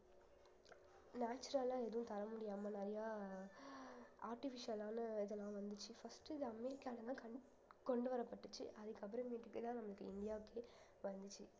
natural ஆ எதுவும் தர முடியாம நிறைய அஹ் artificial ஆன இதெல்லாம் வந்துச்சு first இது அமெரிக்கால எல்லாம் கண்ணு~ கொண்டு வரப்பட்டுச்சு அதுக்கப்புறமேட்டுக்குதான் நம்மளுக்கு இந்தியாவுக்கே வந்துச்சு